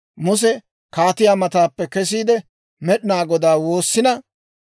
Muse kaatiyaa mataappe kesiide, Med'inaa Godaa woossina;